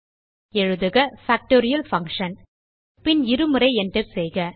எழுதுக factorial Function பின் இருமுறை enter செய்க